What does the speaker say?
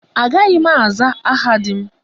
Agaghị m aza aha di m.